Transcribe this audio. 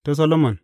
Ta Solomon.